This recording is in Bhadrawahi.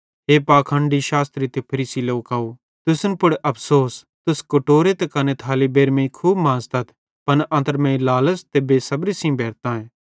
हे पाखंडी शास्त्री ते फरीसी लोकव तुसन पुड़ अफ़सोस तुस कटोरो ते कने थाली बेइरमेईं खूब मांज़तथ पन अन्त्रमेईं लालच़ ते बे सबरीए भेरतांए